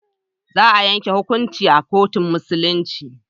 Za a yanke hukuncin a kotun Musulunci.